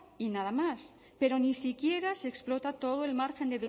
y nada más pero ni siquiera explota todo el margen